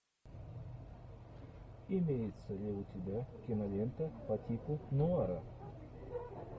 имеется ли у тебя кинолента по типу нуара